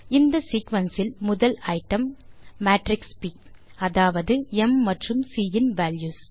இந்த சீக்வென்ஸ் இல் முதல் ஐட்டம் மேட்ரிக்ஸ் ப் அதாவது ம் மற்றும் சி இன் வால்யூஸ்